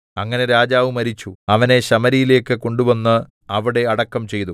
അങ്ങനെ രാജാവ് മരിച്ചു അവനെ ശമര്യയിലേക്ക് കൊണ്ടുവന്ന് അവിടെ അടക്കം ചെയ്തു